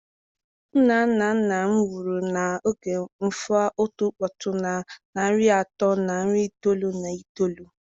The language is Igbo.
Nna nna nna m nwụrụ na oge n'afọ otu puku na narị atọ na iri itoolu na itoolu.